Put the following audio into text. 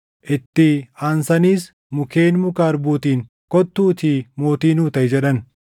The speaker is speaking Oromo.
“Itti aansaniis mukkeen muka harbuutiin, ‘Kottuutii mootii nuu taʼi’ jedhan.